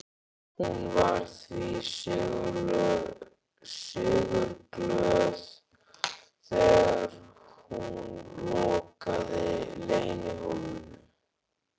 Hún var því sigurglöð þegar hún lokaði leynihólfinu.